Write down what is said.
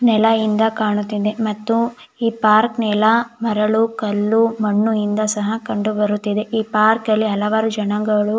ನೆಲ ಇಂದ ಕಾಣುತ್ತಿದೆ ಮತ್ತು ಈ ಪಾರ್ಕ್ ನೆಲ ಮರಳು ಕಲ್ಲು ಮಣ್ಣು ಇಂದ ಕೂಡ ಕಂಡು ಬರುತ್ತಿದೆ ಈ ಪಾರ್ಕ್ ಅಲ್ಲಿ ಹಲವಾರು ಜನಗಳು--